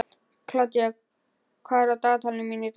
Kládía, hvað er á dagatalinu mínu í dag?